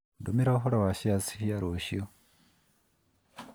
ndũmĩra ũhoro wa shares cia rũciũ